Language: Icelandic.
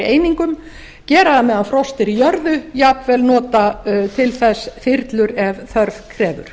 einingum gera það meðan frost er í jörðu jafnvel nota til þess þyrlur ef þörf krefur